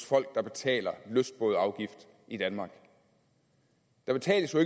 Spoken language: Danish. folk der betaler lystbådeafgift i danmark der betales jo